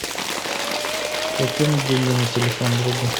закинуть деньги на телефон другу